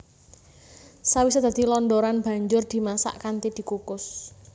Sawisé dadi londoran banjur dimasak kanthi dikukus